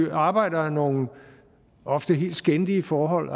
arbejdere nogle ofte helt skændige forhold